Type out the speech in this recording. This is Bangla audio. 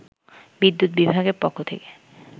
বিদ্যুৎ বিভাগের পক্ষ থেকে